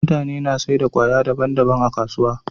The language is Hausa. mutane na saida kaya daban daban a kasuwa